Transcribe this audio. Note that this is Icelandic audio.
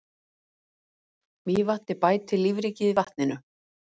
Mývatni bæti lífríkið í vatninu.